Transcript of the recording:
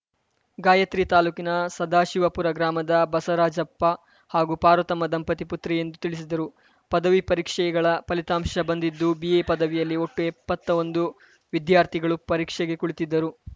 ಗಾಯತ್ರಿ ತಾಲೂಕಿನ ಸದಾಶಿವಪುರ ಗ್ರಾಮದ ಬಸವರಾಜಪ್ಪ ಹಾಗೂ ಪಾರ್ವತಮ್ಮ ದಂಪತಿ ಪುತ್ರಿ ಎಂದು ತಿಳಿಸಿದರು ಪದವಿ ಪರೀಕ್ಷೆಗಳ ಫಲಿತಾಂಶ ಬಂದಿದ್ದು ಬಿಎ ಪದವಿಯಲ್ಲಿ ಒಟ್ಟು ಎಪ್ಪತ್ತೊಂದು ವಿದ್ಯಾರ್ಥಿಗಳು ಪರೀಕ್ಷೆಗೆ ಕುಳಿತಿದ್ದರು